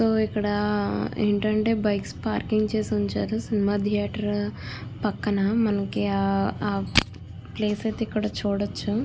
ఇక్కడ ఏంటి అంటే బైక్స్ పార్కింగ్ చేసి ఉంచారు సినిమా ధియేటర్ పక్కన మనకి ఆ ప్లేస్ అయితే ఇక్కడ చూడచ్చు.